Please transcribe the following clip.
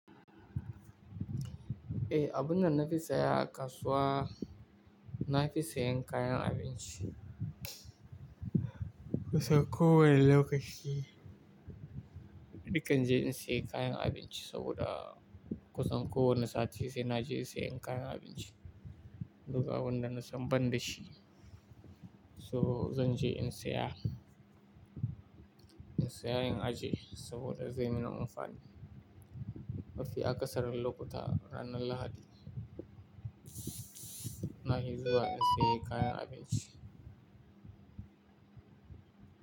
Eh, abun da na fi saya a kasuwa, na fi sayen kayan abinci. Kusan kowane lokaci, ni kan je in saye kayan abinci saboda kusan kowane sati sai na je sayem kayan abinci. Duka abunda na san ban da shi, so zan je in saya, in saya in ajiye saboda zai min amfani. Mafi aƙasarin lokuta ranar Lahadi, na fi zuwa in saye kayan abinci.